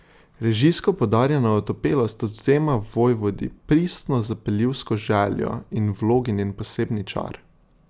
Režijsko poudarjena otopelost odvzema Vojvodi pristno zapeljivsko željo in vlogi njen posebni čar.